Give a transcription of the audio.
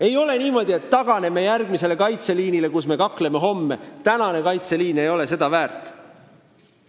Ei ole niimoodi, et taganeme järgmisele kaitseliinile, kus me hakkame homme kaklema, sest tänane kaitseliin ei ole kaklemist väärt.